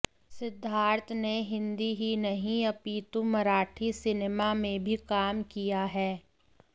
सिद्धार्थ ने हिन्दी ही नहीं अपितु मराठी सिनेमा में भी काम किया है